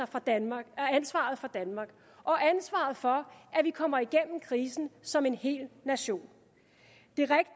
for danmark og ansvaret for at vi kommer igennem krisen som en hel nation